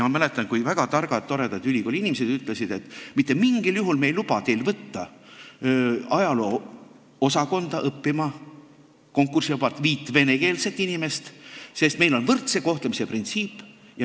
Ma mäletan, kui väga targad ja toredad ülikooliinimesed ütlesid, et me mitte mingil juhul ei luba võtta ajaloo-osakonda konkursivabalt õppima viit venekeelset inimest, sest meil on võrdse kohtlemise printsiip.